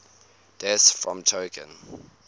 deaths from choking